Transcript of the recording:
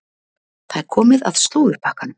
Það er komið að slúðurpakkanum.